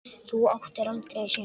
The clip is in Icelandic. Þú áttir aldrei séns